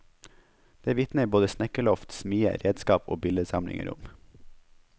Det vitner både snekkerloft, smie, redskap og billedsamlinger om.